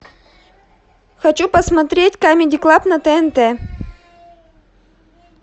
хочу посмотреть камеди клаб на тнт